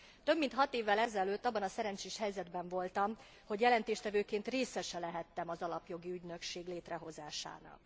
Több mint hat évvel ezelőtt abban a szerencsés helyzetben voltam, hogy jelentéstevőként részese lehettem az Alapjogi Ügynökség létrehozásának.